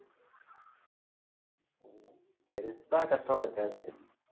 பெருசா கஷ்டம் இருக்காது